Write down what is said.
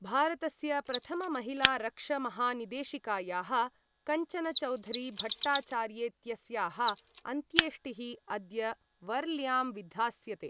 भारतस्य प्रथममहिलारक्षमहानिदेशिकायाः कञ्चनचौधरीभट्टाचार्येत्यस्याः अन्त्येष्टिः अद्य वर्ल्यां विधास्यते।